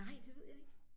Nej det ved jeg ikke